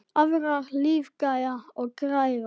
Aðrar lífga og græða.